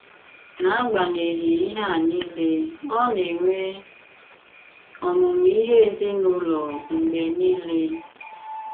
N’agbanyeghị ihé a niile, ọ na-enwè ọmụ́mụ́ ihé èzìnùlò mg̀bè niile.